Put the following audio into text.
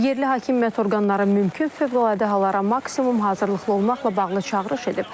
Yerli hakimiyyət orqanları mümkün fövqəladə hallara maksimum hazırlıqlı olmaqla bağlı çağırış edib.